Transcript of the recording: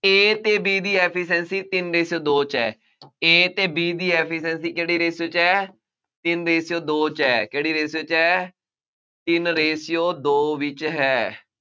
A ਅਤੇ B ਦੀ efficiency ਤਿੰਨ ratio ਦੋ ਚ ਹੈ। A ਅਤੇ B ਦੀ efficiency ਕਿਹੜੇ ratio ਚ ਹੈ। ਤਿੰਂਨ ratio ਦੋ ਚ ਹੈ, ਕਿਹੜੀ ratio ਚ ਹੈ, ਤਿੰਨ ratio ਦੋ ਵਿੱਚ ਹੈ।